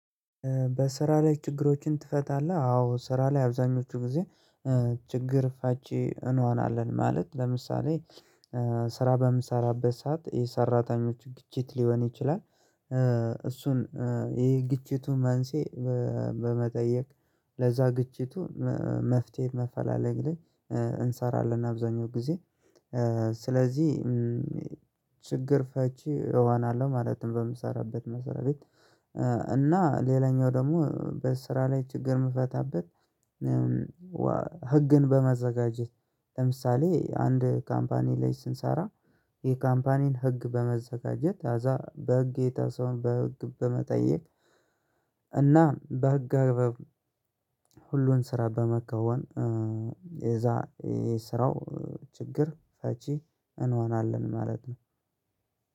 በስራ ላይ ችግሮችን ትፈታለህ? አዎ ስራ ላይ አብዛኞቹ ጊዜ ችግር ፋቺ እንሆናለን ማለት ለምሳሌ ስራ በምሰራበት ሰዓት የሰራተኞች ግጭት ሊሆን ይችላል እሱን ይሄ ግጭቱን መንሴ በመጠየቅ ለዛ ግጭቱ መፍትሄ ማፈላለግ ላይ እንሰራለን አብዛኛው ጊዜ ስለዚህ ችግር ፈቺ እሆናለሁ ማለትም በምሰራበት መስሪያ ቤት እና ሌላኛው ደግሞ በስራ ላይ ችግር የምፈታበት ህግን በማዘጋጀት ለምሳሌ አንድ ካምፓኒ ላይ ስንሰራ ይህ ካምፓኒን ህግ በማዘጋጀት ከዛ በህጌታ ሰውን በህግ በመጠየቅ እና በህግ ሁሉን ስራ በመከወን የዛ የስራው ችግር ፈቺ እንሆናለን ማለት ነው